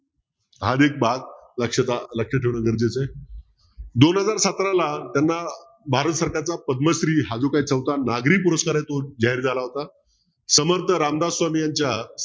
आज एक बाब लक्षात ठेवणं गरजेचं आहे दोन हजार सतराला त्याना भारतसरकारचा पद्मश्री हा जो चौथा नागरी पुरस्कार आहे तो जाहीर झाला होता. समर्थ रामदास स्वामी यांच्या